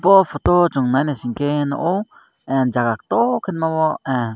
bo photo o chong nainaisike nogo ah jaga kotor ma o ah.